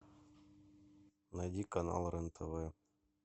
найди канал рен тв